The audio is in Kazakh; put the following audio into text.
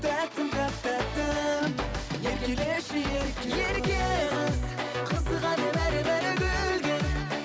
тәттім тәп тәттім еркелеші ерке қыз ерке қыз қызығады бәрі бәрі гүлге